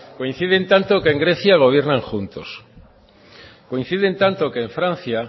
coinciden tanto que en grecia gobiernan juntos coinciden tanto que en francia